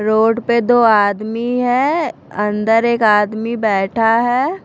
Road पर दो आदमी है अंदर एक आदमी बैठा है।